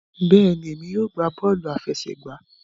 Bẹẹni, èmi yóò gbà bọọ̀lu afẹ̀sẹ̀gba.